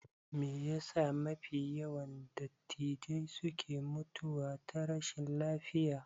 Meyasa mafi yawan dattijai suke mutuwa ta rashi lafiya?